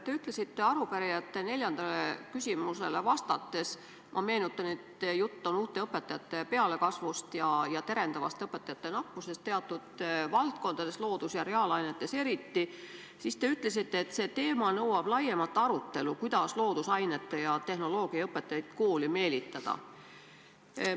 Te ütlesite arupärijate neljandale küsimusele vastates – ma meenutan, et jutt on uute õpetajate pealekasvust ja terendavast õpetajate nappusest teatud valdkondades, loodus- ja reaalainetes eriti –, et see teema nõuab laiemat arutelu, kuidas loodusainete ja tehnoloogia õpetajaid kooli meelitada.